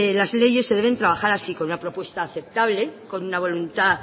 las leyes se deben trabajar así con una propuesta aceptable con una voluntad